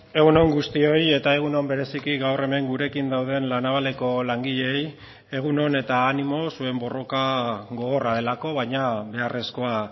egun on guztioi eta egun on bereziki gaur hemen gurekin dauden la navaleko langileei egun on eta animo zuen borroka gogorra delako baina beharrezkoa